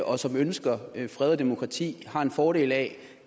og som ønsker fred og demokrati har en fordel af